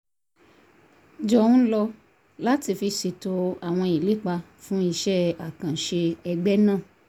jọ ń lò láti fi ṣètò àwọn ìlépa fún iṣẹ́ àkànṣe ẹgbẹ́ náà